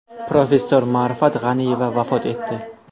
Professor Ma’rifat G‘aniyeva vafot etdi.